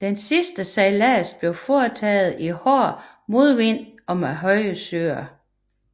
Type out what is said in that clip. Den sidste sejlads blev foretaget i hård modvind og med høje søer